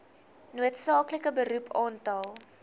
noodsaaklike beroep aantal